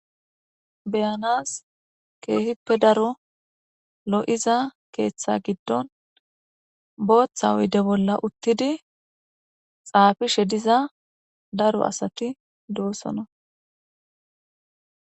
beyanas keehippe daro lo7iza keeththa giddon booththa hoyde bolla uttidi xaafishe diza daro asati doossona